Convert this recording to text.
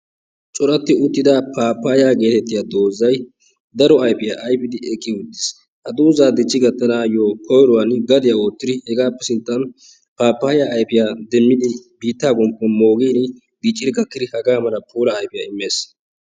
Coratti uttida pappayiya geetettiya doozay daro ayfiya ayfidi eqqi uttiis. Ha dooza dichchi gattanaayo koyruwan gadiyaa oottidi hegaappe sinttan pappayiya ayfiya biittaan moogiin dicciidi gakkidi bitta bollan puulaa immes.